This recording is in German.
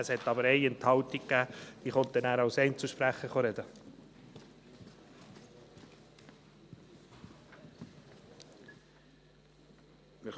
Es gab aber eine Enthaltung, sie wird nachher als Einzelsprecherin dazu sprechen.